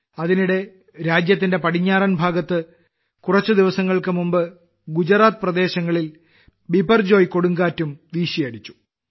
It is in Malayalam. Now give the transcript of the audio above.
അതിനിടെ രാജ്യത്തിന്റെ പടിഞ്ഞാറൻ ഭാഗത്ത് കുറച്ച് ദിവസങ്ങൾക്ക് മുമ്പ് ഗുജറാത്ത് പ്രദേശങ്ങളിൽ ബിപർജോയ് കൊടുങ്കാറ്റ് വീശിയടിച്ചു